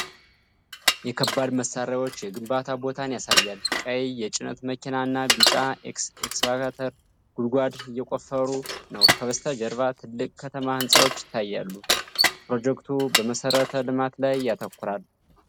የከባድ መሣሪያዎች የግንባታ ቦታን ያሳያል። ቀይ የጭነት መኪና እና ቢጫ ኤክስካቫተር ጉድጓድ እየቆፈሩ ነው። ከበስተጀርባ ትላልቅ ከተማ ህንፃዎች ይታያሉ። ፕሮጀክቱ በመሠረተ ልማት ላይ ያተኩራል?